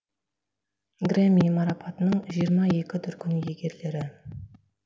грэмми марапатының жиырма екі дүркін иегерлері